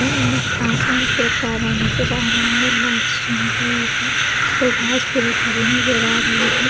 अम्म नज़र आ रहा है लाइट्स चमक रही है ये घास पूरी हरी नज़र आ रही है।